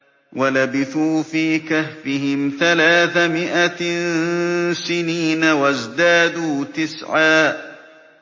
وَلَبِثُوا فِي كَهْفِهِمْ ثَلَاثَ مِائَةٍ سِنِينَ وَازْدَادُوا تِسْعًا